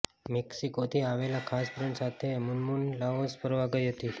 મેક્સિકોથી આવેલા ખાસ ફ્રેન્ડ સાથે મુનમુન લાઓસ ફરવા ગઈ હતી